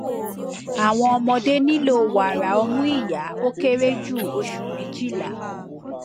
awọn ọmọde nilo wara omu iya o kere ju oṣu mejila